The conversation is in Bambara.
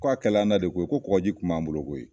Ko a kɛl'an na de koyi, ko kɔkɔji kun m'an bolo koyi